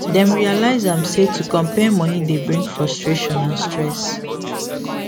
dem realize am say to compare money dey bring frustration and stress